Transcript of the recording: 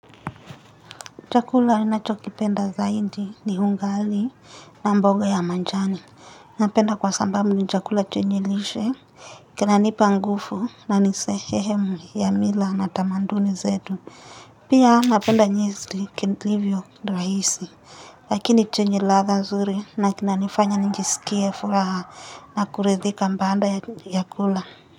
Chakula inachokipenda zahidi ni hungali na mboga ya manjani. Napenda kwa sambamu ni chakula chenye lishe. Kinanipa ngufu na ni sehemu ya mila na tamanduni zetu. Pia napenda nyesli kentlivyo raisi. Lakini chenye ladha zuri na kinanifanya njisikie furaha nakuridhika mbaanda ya kula.